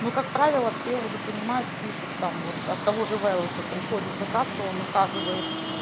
ну как правило все уже понимают пишут там вот от того же велеса там приходит заказ то он указывает